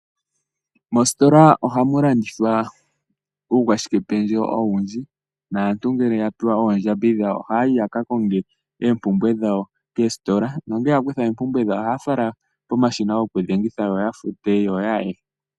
Mositola ohamu landithwa uukwashike pendje owundji. Naantu ngele yapewa oondjambi dhawo ohaya yi yakakonge oompumbwe dhawo keesitola. Nongele yakutha oopumbwe dhawo, ohaya fala pomashina gokudhengitha yo yafute yo yaye.